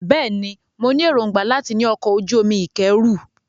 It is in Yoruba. Bẹ́ẹ̀ ni, mo ní èròńgbà láti ní ọkọ̀-ojú-omi ìkẹ́rù.